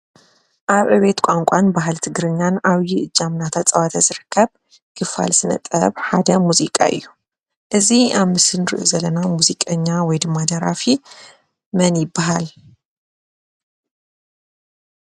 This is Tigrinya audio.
ኣብ ዕብየት ቋንቋን ባህሊ ትግርኛን ዓብዪ እጃም እናተፃወተ ዝርከብ ትካል ስነ ጥበብ ሓዲኦም ሙዚቃ እዩ፡፡ እዚ ኣብ ምሰሊ ንሪኦ ዘለና ሙዚቀኛ ወይ ድማ ደራፊ መን ይበሃል?